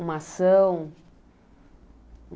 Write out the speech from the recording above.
Uma ação?